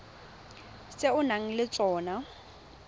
tse o nang le tsona